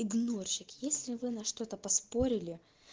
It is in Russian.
игнорщик если вы на что-то поспорили